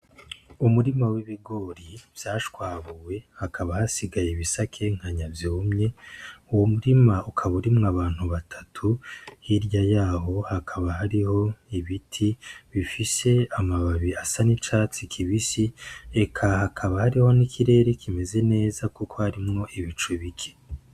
Umurima w'ibigori vyashwabuwe hakaba hasigaye ibisakenkanya vyumye, uwo murima ukaba urimwo abantu batatu hirya yaho hakaba hariho ibiti bifise amababi asa n'icatsi kibisi ,eka hakaba hariho n'ikirere kimeze neza kuko harimwo ibicu bike.